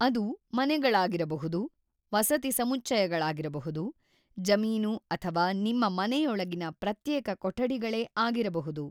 ಅದು ಮನೆಗಳಾಗಿರಬಹುದು, ವಸತಿ ಸಮುಚ್ಚಯಗಳಾಗಿರಬಹುದು, ಜಮೀನು ಅಥವಾ ನಿಮ್ಮ ಮನೆಯೊಳಗಿನ ಪ್ರತ್ಯೇಕ ಕೊಠಡಿಗಳೇ ಆಗಿರಬಹುದು.